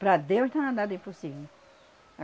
Para Deus não há nada impossível.